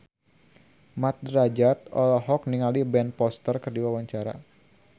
Mat Drajat olohok ningali Ben Foster keur diwawancara